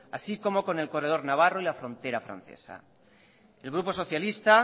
así como con el corredor navarro y la frontera francesa el grupo socialistas